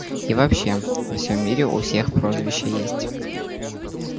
и вообще во всём мире у всех прозвища есть